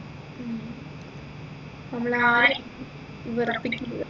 ഉം നമ്മളാരെയും വെറുപ്പിക്കരുത്